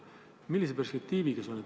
Millise perspektiiviga see on?